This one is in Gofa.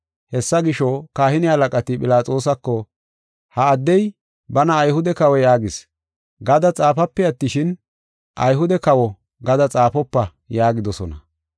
Hessa gisho, kahine halaqati Philaxoosako, “ ‘Ha addey bana Ayhude kawo yaagis’ gada xaafape attishin, ‘Ayhude kawo’ gada xaafopa” yaagidosona.